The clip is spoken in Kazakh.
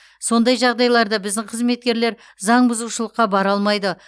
сондай жағдайларда біздің қызметкерлер заңбұзушылыққа бара алмайды